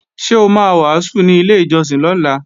Ṣé o ma wàásù ní ilé ìjọsìn lọ́la?